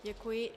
Děkuji.